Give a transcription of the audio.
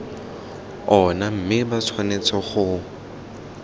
ona mme ba tshwanetse go